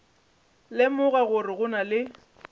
lemoga gore go na le